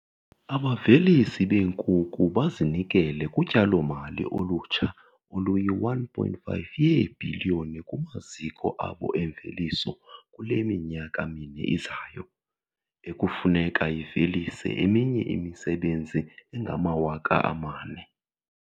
Abavelisi beenkukhu bazinikele kutyalo-mali olutsha oluyi-R1.5 yeebhiliyoni kumaziko abo emveliso kule minyaka mine izayo, ekufuneka ivelise eminye imisebenzi engama-4 000.